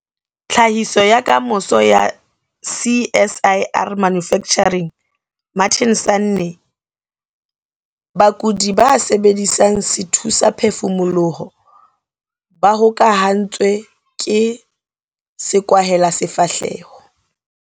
Tlhahiso ya Kamoso ya CSIR- Manufacturing Martin Sanne.Bakudi ba sebedisang sethusaphefumoloho ba hokahantswe ke sekwahelasefahleho.